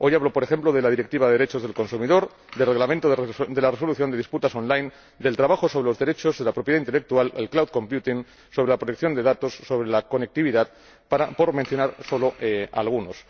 Hoy hablo, por ejemplo, de la Directiva sobre los derechos del consumidor, del Reglamento sobre la resolución de disputas on line del trabajo sobre los derechos de la propiedad intelectual, sobre el cloud computing sobre la protección de datos, sobre la conectividad, por mencionar solo algunos.